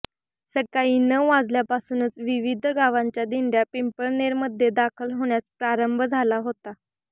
सकाळी नउ वाजल्यापासूनच विविध गावांच्या दिंडया पिंपळनेरमध्ये दाखल होण्यास प्रारंभ झाला होता